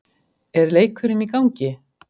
er leikurinn í gangi?